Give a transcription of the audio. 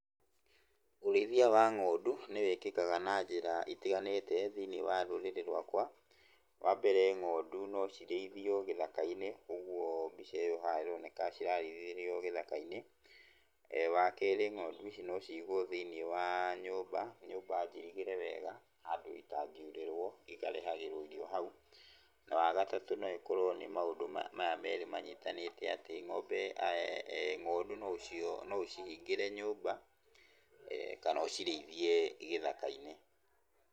Ũrĩithia wa ng'ondu nĩwĩkĩkaga na njĩra itiganĩte thĩiniĩ wa rũrĩrĩ rũakwa. Wambere ng'ondu nocirĩithio gĩthaka-inĩ, ũguo mbica ĩyo haha ĩroneka cirarĩithĩrio gĩthaka-inĩ. Wakerĩ ng'ondu ici no cigũo thĩiniĩ wa nyũmba, nyũmba njirigĩre wega handũ itangiurĩrwo ikarehagĩrwo irio hau. Na wagatatũ no ĩkorwo nĩ maũndũ maya merĩ manyitanĩte, atĩ ng'ombe, ng'ondu noũcihingĩre nyũmba, kana ũcirĩithie gĩthaka-inĩ.